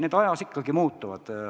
Need ajas ikkagi muutuvad.